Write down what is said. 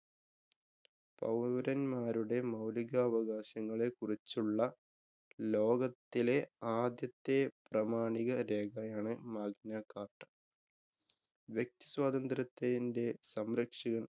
പൌരന്മാരുടെ മൌലികാവകാശങ്ങളെ കുറിച്ചുള്ള, ലോകത്തിലെ ആദ്യത്തെ പ്രമാണിക രേഖയാണ് Magna Carta. വ്യക്തിസ്വാതന്ത്രത്തെ ന്‍ടെ സംരക്ഷകന്‍